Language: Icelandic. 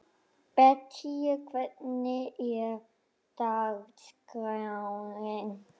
Bettý, hvernig er dagskráin?